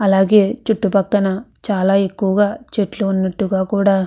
అలాగే చుట్టుపక్కన చాలా ఎక్కువగా చెట్లు ఉన్నట్టుగా కూడా --